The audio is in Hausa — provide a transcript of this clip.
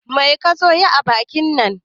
Mai kazo yi a bankin nan